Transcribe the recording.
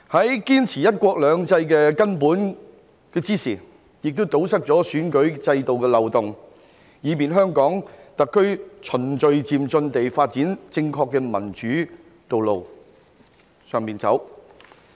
在堅持"一國兩制"這個根本的同時，亦堵塞了選舉制度的漏洞，以便香港特區循序漸進地發展正確的民主道路，並在這條道路上走。